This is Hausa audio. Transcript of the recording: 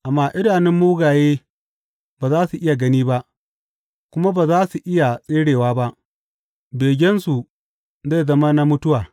Amma idanun mugaye ba za su iya gani ba, kuma ba za su iya tserewa ba; begensu zai zama na mutuwa.